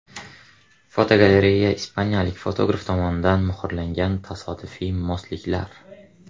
Fotogalereya: Ispaniyalik fotograf tomonidan muhrlangan tasodifiy mosliklar.